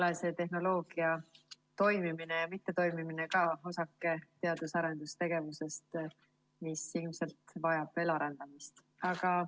Eks see tehnoloogia toimimine ja mittetoimimine ole ka osake teadus‑ ja arendustegevusest, mis ilmselt vajab veel arendamist.